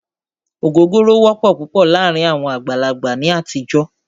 Ògógóró wọ́pọ̀ púpọ̀ láàárín àwọn àgbàlagbà ní àtijọ́.